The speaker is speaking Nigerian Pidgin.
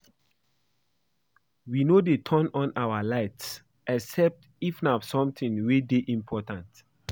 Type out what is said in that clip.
We no dey turn on our lights except if na something wey dey important